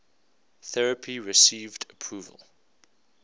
therapy received approval